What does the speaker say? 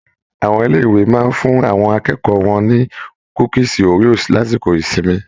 Àwọn ilé ìwé máa n fún àwọn akẹ́kọ̀ọ́ wọn ni kúkísí Oreos lásìkò ìsinmi.